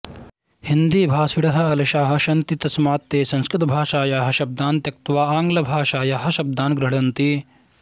हिन्दीभाषिणः अलसाः सन्ति तस्मात् ते संस्कृतभाषायाः शब्दान् त्यक्त्वा आङ्ग्लभाषायाः शब्दान् गृह्णन्ति